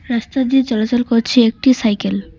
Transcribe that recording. রাস্তা দিয়ে চলাচল করছে একটি সাইকেল ।